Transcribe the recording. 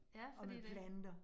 Ja, fordi det